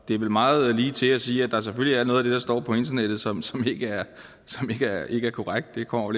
er vel meget ligetil at sige at der selvfølgelig er noget af det der står på internettet som som ikke er ikke er korrekt det kommer